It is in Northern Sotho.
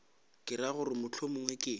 ke ra gore mohlomongwe ke